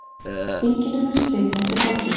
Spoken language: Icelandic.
Þinginu verður slitið eftir hádegi.